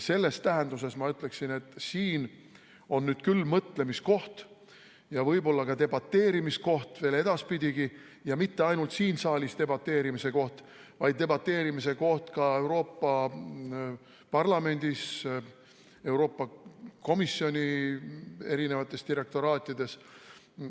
Selles tähenduses ma ütleksin, et siin on nüüd küll mõtlemise koht ja võib-olla ka debateerimise koht veel edaspidigi ja mitte ainult siin saalis debateerimise koht, vaid debateerimise koht ka Euroopa Parlamendis, Euroopa Komisjoni direktoraatides.